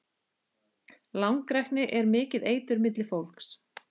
Langrækni er mikið eitur milli fólks.